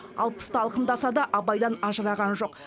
алпысты алқымдаса да абайдан ажыраған жоқ